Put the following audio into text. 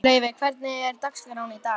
Laufey, hvernig er dagskráin í dag?